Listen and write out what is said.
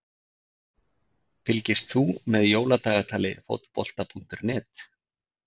Fylgist þú með Jóladagatali Fótbolta.net?